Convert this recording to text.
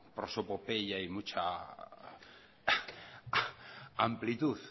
prosopopeya y mucha amplitud